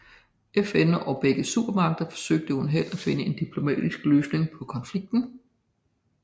FN og begge supermagterne forsøgte uden held at finde en diplomatisk løsning på konflikten